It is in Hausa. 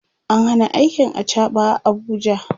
an Hana aikin achaɓa a Abuja